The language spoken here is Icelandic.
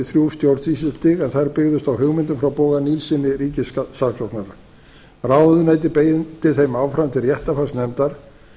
þrjú stjórnsýslustig en þær byggðust á hugmyndum frá boga nilssyni ríkissaksóknara ráðuneytið beindi þeim áfram til réttarfarsnefndar